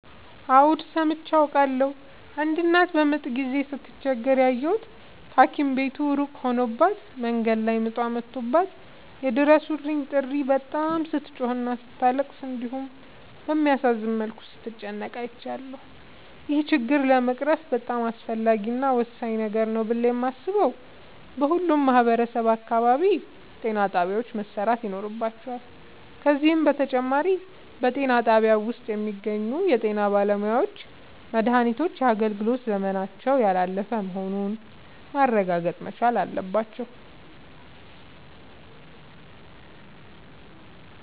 አዎድ ሠምቼ አውቃለሁ። አንድ እናት በምጥ ጊዜ ስትቸገር ያየሁት ታኪም ቤቱ እሩቅ ሆኖባት መንገድ ላይ ምጧ መቶባት የይድረሡልኝ ጥሪ በጣም ስትጮህና ስታለቅስ እንዲሁም በሚያሳዝን መልኩ ስትጨነቅ አይቻለሁ። ይህን ችግር ለመቅረፍ በጣም አስፈላጊ እና ወሳኝ ነገር ነው ብሌ የማሥበው በሁሉም ማህበረሠብ አካባቢ ጤናጣቢያዎች መሠራት ይኖርባቸዋል። ከዚህም በተጨማሪ በጤናጣቢያው ውስጥ የሚገኙ የጤናባለሙያዎች መድሃኒቶች የአገልግሎት ዘመናቸው ያላለፈ መሆኑን ማረጋገጥ መቻል አለባቸው።